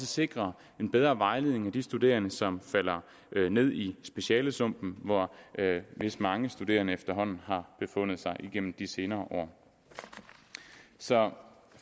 sikrer en bedre vejledning af de studerende som falder ned i specialesumpen hvor vist mange studerende efterhånden har befundet sig igennem de senere år så